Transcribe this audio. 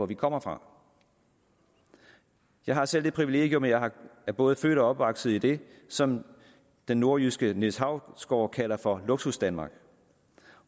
vi kommer fra jeg har selv det privilegium at jeg er både født og opvokset i det som den nordjyske niels hausgaard kalder for luksusdanmark